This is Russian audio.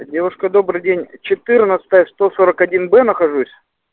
девушка добрый день четырнадцатая сто сорок один б нахожусь